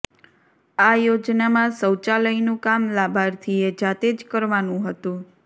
આ યોજનામાં શૌચાલયનું કામ લાભાર્થીએ જાતે જ કરવાનું હતુ